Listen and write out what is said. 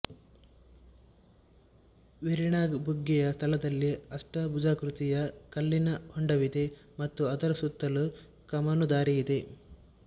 ವೇರಿನಾಗ್ ಬುಗ್ಗೆಯ ಸ್ಥಳದಲ್ಲಿ ಅಷ್ಟಭುಜಾಕೃತಿಯ ಕಲ್ಲಿನ ಹೊಂಡವಿದೆ ಮತ್ತು ಅದರ ಸುತ್ತಲೂ ಕಮಾನುದಾರಿಯಿದೆ